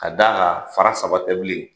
Ka da kan fara saba tɛ bilen.